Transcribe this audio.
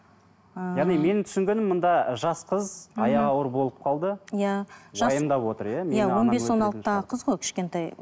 ыыы яғни менің түсінгенім мұнда жас қыз аяғы ауыр болып қалды иә он бес он алтыдағы қыз ғой кішкентай